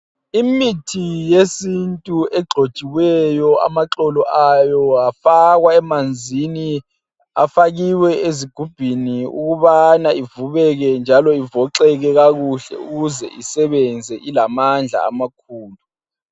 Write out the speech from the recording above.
Imithi yesintu egxotshiweyo amaxolo ayo afakwa emanzini. Afakiwe ezigubheni ukubana ivubeke njalo ivoxeke kakuhle ukuze isebenze ilamandla amakhulu.